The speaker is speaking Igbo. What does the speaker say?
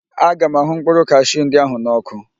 Aga m ahụ mkpụrụ kashiu ndị ahụ n ọ́kụ́.